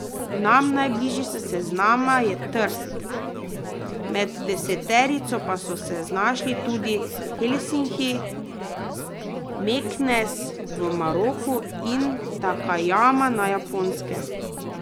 Nam najbližji s seznama je Trst, med deseterico pa so se znašli tudi Helsinki, Meknes v Maroku in Takajama na Japonskem.